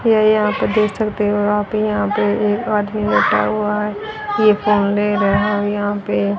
यह यहां आप देख सकते हो आप यहां पे एक आदमी बैठा हुआ है ये फोन ले रहा है और यहां पे --